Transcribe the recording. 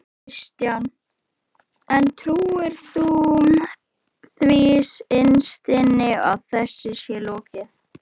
Kristján: En trúirðu því innst inni að þessu sé lokið?